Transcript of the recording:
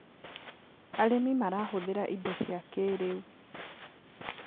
Arĩmĩ marahũthĩra ĩndo cĩa kĩĩrĩũ